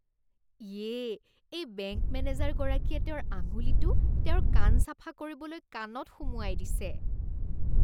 ইয়ে, এই বেংক মেনেজাৰগৰাকীয়ে তেওঁৰ আঙুলিটো তেওঁৰ কাণ চাফা কৰিবলৈ কাণত সুমুৱাই দিছে।